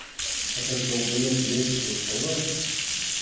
этот долбаёб и есть голосовое